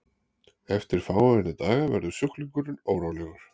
eftir fáeina daga verður sjúklingurinn órólegur